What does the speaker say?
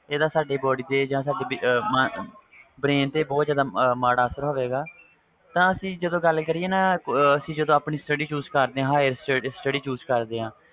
ਇਹਦਾ ਸਾਡੀ body ਤੇ ਜਾ ਸਾਡੇ brain ਤੇ ਮਾੜਾ ਅਸਰ ਪੈਂਦਾ ਹੈ ਤਾ ਆਪਾ ਇਹਦੀ ਗੱਲ ਕਰੀਏ ਜਦੋ ਆਪਣੀ sutdy higher sutdy choose ਕਰਦੇ ਹਾਂ